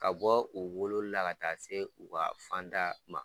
Ka bɔ u wololila ka taa se u ka fan da ma